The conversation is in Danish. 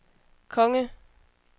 konge